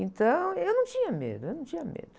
Então, eu não tinha medo, eu não tinha medo.